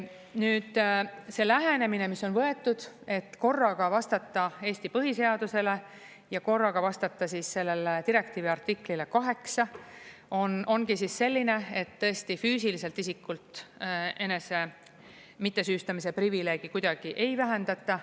Nüüd, see lähenemine, mis on võetud, et korraga vastata Eesti põhiseadusele ja korraga vastata sellele direktiivi artiklile 8, ongi selline, et tõesti, füüsiliselt isikult enese mittesüüstamise privileegi kuidagi ei vähendata.